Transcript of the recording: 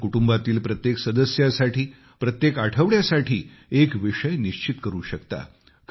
आपण कुटुंबातील प्रत्येक सदस्यासाठी प्रत्येक आठवड्यासाठी एक विषय निश्चित करू शकता